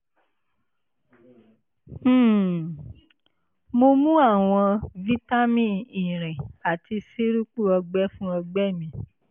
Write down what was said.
um mo ń mu àwọn vitamin irin àti sírupu ọgbẹ́ fún ọgbẹ́ mi